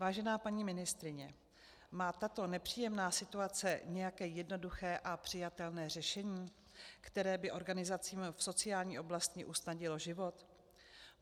Vážená paní ministryně, má tato nepříjemná situace nějaké jednoduché a přijatelné řešení, které by organizacím v sociální oblasti usnadnilo život?